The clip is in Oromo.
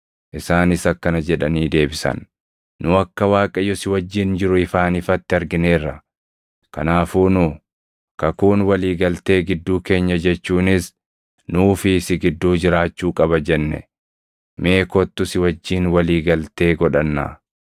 Isaanis akkana jedhanii deebisan; “Nu akka Waaqayyo si wajjin jiru ifaan ifatti argineerra; kanaafuu nu, ‘Kakuun walii galtee gidduu keenya jechuunis nuu fi si gidduu jiraachuu qaba’ jenne; mee kottu si wajjin walii galtee godhannaa.